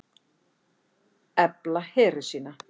Efla heri sína